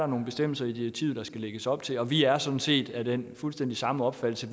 nogle bestemmelser i direktivet der skal lægges op til vi er sådan set af den fuldstændig samme opfattelse